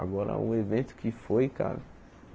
Agora o evento que foi, cara.